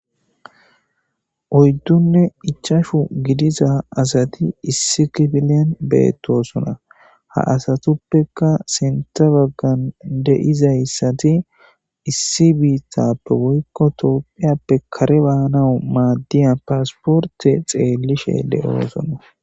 Oyddunne ichashu gidiza asati issi kifilen beettosona ha asatuppeka sinta baggan de'izayssati issi biittappe woykko toopphiyappe kare baanau maaddiya paasporte xeellishe de'oosona.